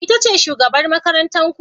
Ita ce shugabar makarantar ku?